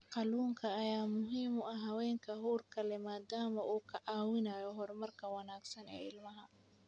Kalluunka ayaa muhiim u ah haweenka uurka leh maadaama uu ka caawinayo horumarka wanaagsan ee ilmaha.